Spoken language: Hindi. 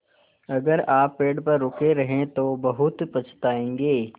अगर आप पेड़ पर रुके रहे तो बहुत पछताएँगे